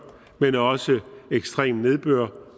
men også ved ekstrem nedbør